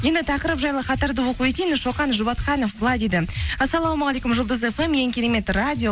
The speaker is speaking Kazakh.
енді тақырып жайлы хаттарды оқып өтейін шоқан жұбатханов былай дейді ассаламағалейкум жұлдыз фм ең керемет радио